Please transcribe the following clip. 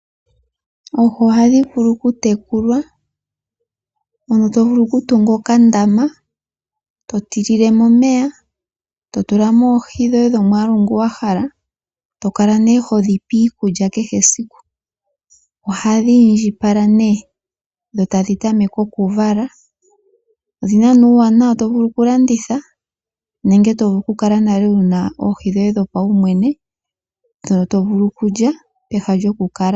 Oohi ohadhi vulu okutekulwa, mono to vulu okutunga okandama to tilile mo omeya to tulamo oohi dhoye dhomwaalu ngoka wa hala. To kala nee ho dhipe iikulya kehe esiku. Ohadhi indjipala nee, dho tadhi tameke okuvala. Odhina nee uuwanawa, to vulu okulanditha nenge to vulu okukala wuna oohi dhoye dhopaumwene dhono to vulu okulya.